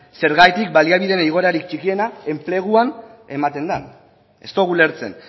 zergatik baliabideen igoerarik txikiena enpleguan ematen den ez dugu ulertzen